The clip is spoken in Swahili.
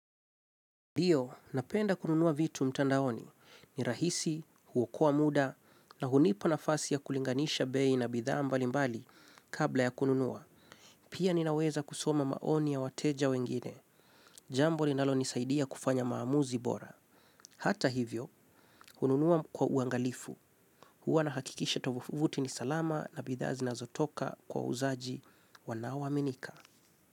Ndio, napenda kununua vitu mtandaoni. Ni rahisi, huokoa muda, na hunipa nafasi ya kulinganisha bei na bidhaa mbalimbali kabla ya kununua. Pia ninaweza kusoma maoni ya wateja wengine. Jambo linalonisaidia kufanya maamuzi bora. Hata hivyo, hununua kwa uangalifu. Huwa nahakikisha tovuti ni salama na bidhaa zinazotoka kwa wauzaji wanaoaminika.